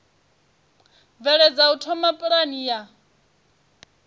bveledza u thoma pulane ya